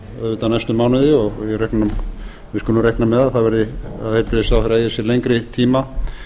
auðvitað næstu mánuði og við skulum reikna með að heilbrigðisráðherra eigi lengri tíma